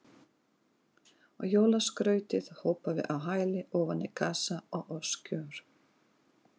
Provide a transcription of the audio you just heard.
Og jólaskrautið hopaði á hæli ofan í kassa og öskjur.